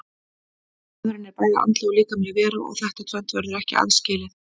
Maðurinn er bæði andleg og líkamleg vera og þetta tvennt verður ekki aðskilið.